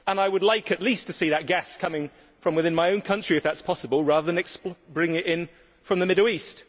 I would like at least to see that gas coming from within my own country, if that is possible, rather than bringing it in from the Middle East.